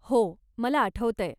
हो. मला आठवतंय.